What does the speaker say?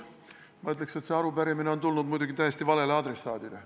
Ma ütleks, et see arupärimine on tulnud muidugi täiesti valele adressaadile.